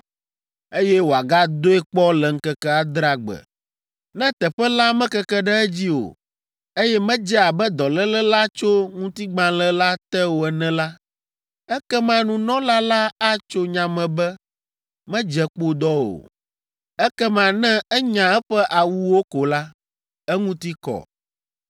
eye wòagadoe kpɔ le ŋkeke adrea gbe. Ne teƒe la mekeke ɖe edzi o, eye medze abe dɔléle la tso ŋutigbalẽ la te o ene la, ekema nunɔla la atso nya me be medze kpodɔ o. Ekema ne enya eƒe awuwo ko la, eŋuti kɔ.